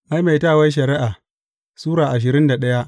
Maimaitawar Shari’a Sura ashirin da daya